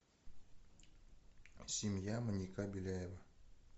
семья маньяка беляева